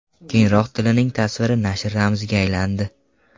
Keyinroq Tillining tasviri nashr ramziga aylandi.